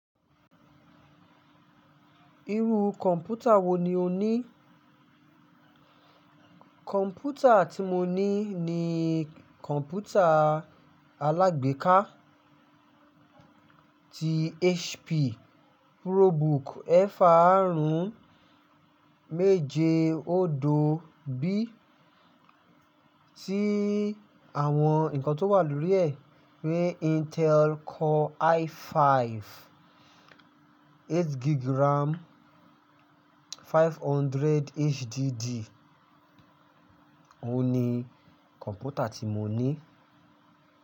Irú kọ̀mpútà wo ni o ní? Kọ̀ǹpútà tí mo ní ni kọ̀ǹpútà alágbèéká ti HP ProBook eefarun meje odo bí tí àwọn ǹnkan tó wà lórí rẹ̀ pé Intel Core i5, 8GB RAM, 500 HDD. Óhun ni kọ̀mpútà tí mo ní.